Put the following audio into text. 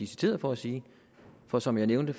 citeret for at sige for som jeg nævnte